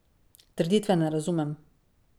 Trditve ne razumem.